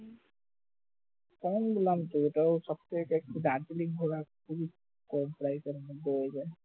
যেমন বললাম সব থেকে একটু দার্জিলিং ঘোরা খুবই কম price এর মধ্যে হয়ে যায়